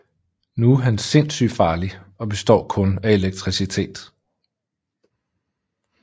Nu er han sindssygt farlig og består kun af elektricitet